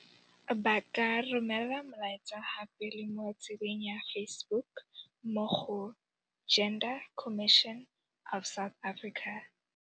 Ba ka re romela molaetsa gape le mo tsebeng ya Facebook mo go Gender Commission of South Africa.